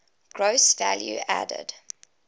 gross value added